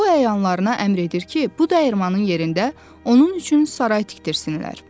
O əyanlarına əmr edir ki, bu dəyirmanin yerində onun üçün saray tikdirsinlər.